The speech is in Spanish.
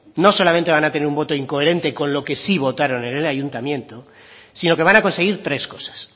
no solamente van a tener un voto incoherente con lo que sí votaron en el ayuntamiento sino que van a conseguir tres cosas